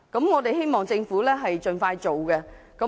我們希望政府盡快展開有關工作。